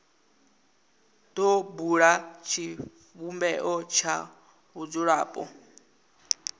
do bula tshivhumbeo tsha vhadzulapo